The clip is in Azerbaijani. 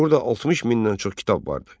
Burada 60 mindən çox kitab vardı.